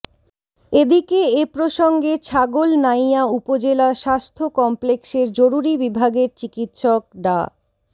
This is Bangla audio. এদিকে এ প্রসঙ্গে ছাগলনাইয়া উপজেলা স্বাস্থ্য কমপ্লেক্সের জরুরী বিভাগের চিকিৎসক ডা